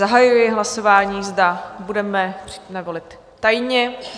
Zahajuji hlasování, zda budeme volit tajně.